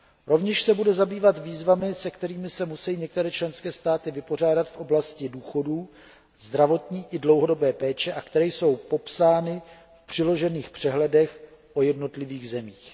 Rovněž se bude zabývat výzvami, se kterými se musejí některé členské státy vypořádat v oblasti důchodů a zdravotní i dlouhodobé péče a které jsou popsány v přiložených přehledech o jednotlivých zemích.